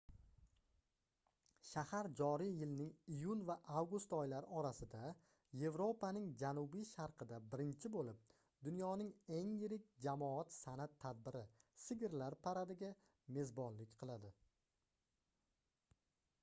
shahar joriy yilning iyun va avgust oylari orasida yevropaning janubi-sharqida birinchi boʻlib dunyoning eng yirik jamoat sanʼat tadbiri sigirlar paradiga mezbonlik qiladi